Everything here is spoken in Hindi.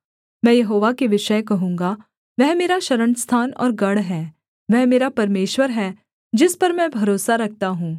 मैं यहोवा के विषय कहूँगा वह मेरा शरणस्थान और गढ़ है वह मेरा परमेश्वर है जिस पर मैं भरोसा रखता हूँ